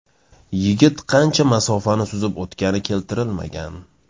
Yigit qancha masofani suzib o‘tgani keltirilmagan.